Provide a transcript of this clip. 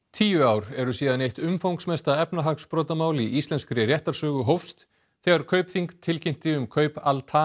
tíu ár eru síðan eitt umfangsmesta efnahagsbrotamál í íslenskri réttarsögu hófst þegar Kaupþing tilkynnti um kaup Al